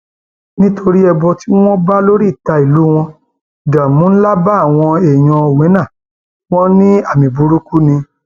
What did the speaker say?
nítorí ẹbọ tí wọn bá lóríta ìlú wọn ìdààmú ńlá bá àwọn èèyàn owena wọn ní àmì burúkú ni